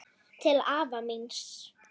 Til afa míns.